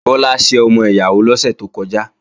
Bọ́lá ṣe ọmọ ìyàwó lọ́sẹ̀ tó kọjá